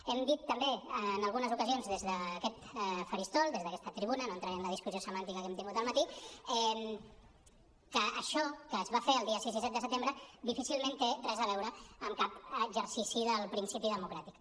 hem dit també en algunes ocasions des d’aquest faristol des d’aquesta tribuna no entraré en la discussió semàntica que hem tingut al matí que això que es va fer els dies sis i set de setembre difícilment té res a veure amb cap exercici del principi democràtic